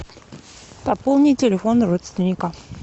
пополни телефон родственника